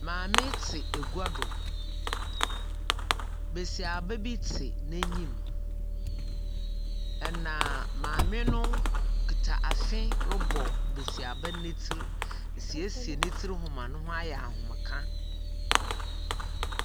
Maame tse egua do, basiaba bi tse n’enyim, na maame no kitsa afe robɔ basiaba no ne tsir, resiesie no tsir ho ma no ho ayɛ ahomka.